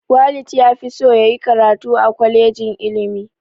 Walid ya fi so ya yi karatu a kwalejin ilimi